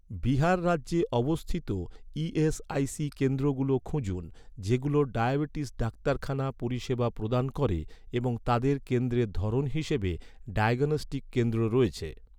বিহার রাজ্যে অবস্থিত ই.এস.আই.সি কেন্দ্রগুলো খুঁজুন, যেগুলো ডায়াবেটিস ডাক্তারখানা পরিষেবা প্রদান করে এবং তাদের কেন্দ্রের ধরন হিসাবে ডায়াগনস্টিক কেন্দ্র রয়েছে৷